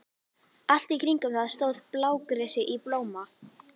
Allt í kringum það stóð blágresi í blóma.